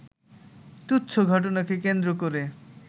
তুচ্ছ ঘটনাকে কেন্দ্র করে